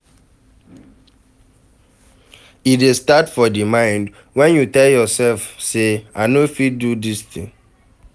Resillience na di strong will to fit bounce back when things no dey go well